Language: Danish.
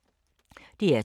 DR2